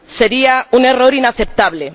sería un error inaceptable.